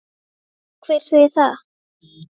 Hver segir það?